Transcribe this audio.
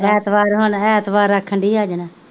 ਐਤਵਾਰ ਹੁਣ ਐਤਵਾਰ ਰੱਖਣ ਡੇਇ ਆ ਜਾਣਾ,